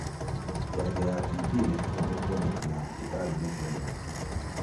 Janjo ya TB nĩ ũhũthũ kuonekana thibitarĩinĩ cia mũingĩ.